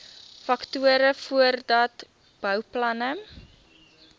faktore voordat bouplanne